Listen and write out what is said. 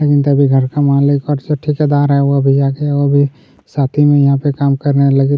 तभिन तभी घर का मालिक और ठेकादार हैं वो भी आगे वो भी साथ ही मे यहाँ पे काम करने वाला लेकिन--